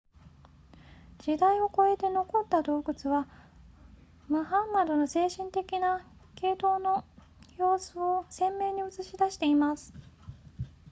時代を超えて残った洞窟はムハンマドの精神的な傾倒の様子を鮮明に映し出しています